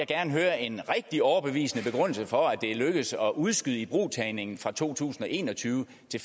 gerne høre en rigtig overbevisende begrundelse for at det er lykkedes at udskyde ibrugtagningen fra to tusind og en og tyve til